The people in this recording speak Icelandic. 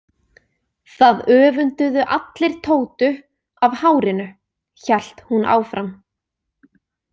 Það öfunduðu allir Tótu af hárinu, hélt hún áfram.